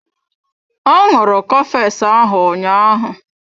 Ọ ṅụrụ cofex ahụ ụnyaahụ.